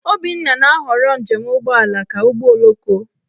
Obinna na-ahọrọ njem ụgbọala ka ụgbọoloko.